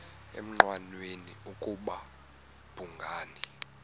engqanweni ukuba babhungani